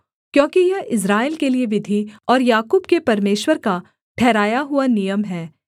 क्योंकि यह इस्राएल के लिये विधि और याकूब के परमेश्वर का ठहराया हुआ नियम है